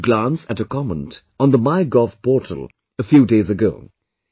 I happened to glance at a comment on the MyGov portal a few days ago